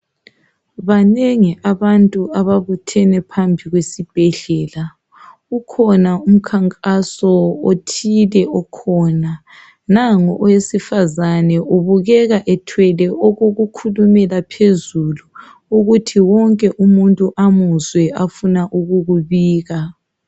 Banengi abantu ababuthene phambi kwesibhedlela, kukhona umkhankaso othile okhona, nango owesifazane ubukeka ethwele okokukhulumela phezulu, ukuthi wonke muntu amuzwe afuna ukukubika.